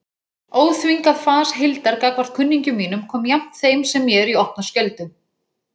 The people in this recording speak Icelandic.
Óþvingað fas Hildar gagnvart kunningjum mínum kom jafnt þeim sem mér í opna skjöldu.